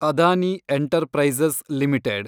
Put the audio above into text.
Adani enterprises limited